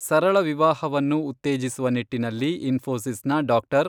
ಸರಳ ವಿವಾಹವನ್ನು ಉತ್ತೇಜಿಸುವ ನಿಟ್ಟಿನಲ್ಲಿ ಇನ್ಫೋಸಿಸ್ನ ಡಾ.